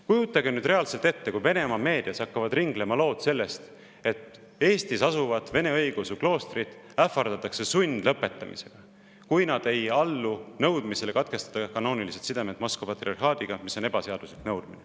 Kujutage nüüd reaalselt ette, kui Venemaa meedias hakkavad ringlema lood sellest, et Eestis asuvaid vene õigeusu ähvardatakse sundlõpetamisega, kui nad ei allu nõudmisele katkestada kanoonilised sidemed Moskva patriarhaadiga, mis on ebaseaduslik nõudmine.